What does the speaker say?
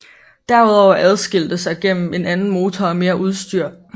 Derudover adskilte sig gennem en anden motor og mere udstyr